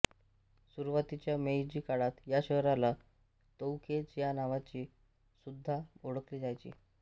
सुरुवातीच्या मेईजी काळात या शहराला तोउकेइ च्या नावाने सुद्धा ओळखले जायचे